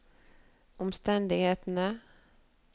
omstendighetene